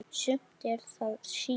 Sumt er það síður.